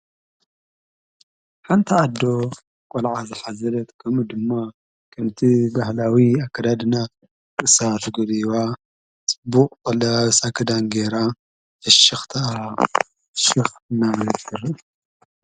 ሓንታ ኣዶ ቖልዓ ዘኃዘለት ከሚ ድማ ክምቲ ባሃላዊ ኣከዳድና ርእሳ ተጎልቢባ ክዳን ገይራ ፍሽኽት ሽሕ ናነነድር